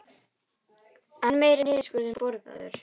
Enn meiri niðurskurður boðaður